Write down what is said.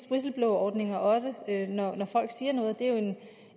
whistleblowerordninger også når folk siger noget det er jo